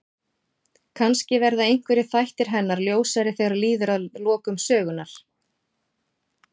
Kannski verða einhverjir þættir hennar ljósari þegar líður að lokum sögunnar.